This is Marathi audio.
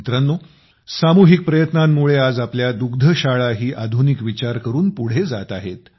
मित्रांनो सामूहिक प्रयत्नांमुळे आज आपल्या दुग्धशाळाही आधुनिक विचार करून पुढे जात आहेत